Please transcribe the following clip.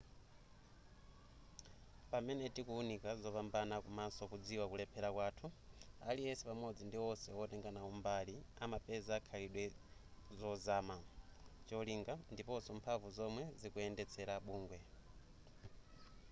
pamene tikuwunika zopambana komaso kudziwa kulephera kwathu aliyense pamodzi ndi wonse wotenga nawo mbali amapeza zikhalidwe zozama cholinga ndiponso mphamvu zomwe zikuyendetsera bungwe